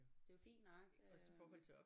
Det er jo fint nok øh